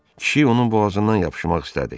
Kişi onun boğazından yapışmaq istədi.